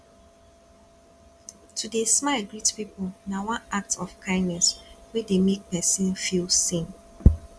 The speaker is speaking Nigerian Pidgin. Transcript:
to de smile greet pipo na one act of kindness wey de make persin feel seen